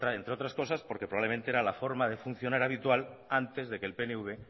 entre otras cosas porque probablemente era la forma de funcionar habitual antes de que el pnv